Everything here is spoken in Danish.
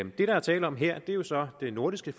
det der er tale om her er jo så det nordiske